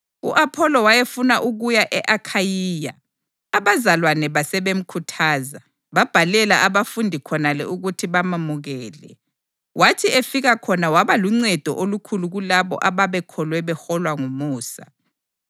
U-Apholo wayefuna ukuya e-Akhayiya, abazalwane basebemkhuthaza, babhalela abafundi khonale ukuthi bamamukele. Wathi efika khona waba luncedo olukhulu kulabo ababekholwe beholwa ngumusa.